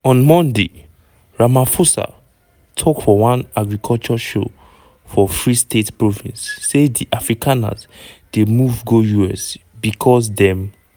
on monday ramaphosa tok for one agriculture show for free state province say di afrikaners dey move go us because dem